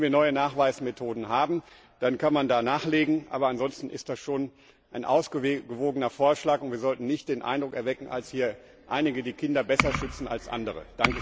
Wenn wir neue Nachweismethoden haben, dann kann man da nachlegen. Aber ansonsten ist das schon ein ausgewogener Vorschlag, und wir sollten nicht den Eindruck erwecken, als ob hier einige die Kinder besser schützen als andere.